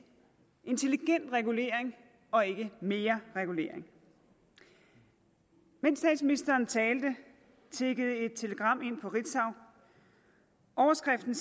intelligent regulering og ikke mere regulering mens statsministeren talte tikkede et telegram ind fra ritzau overskriften